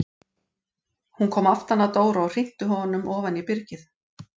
Hún kom aftan að Dóra og hrinti honum ofan í byrgið!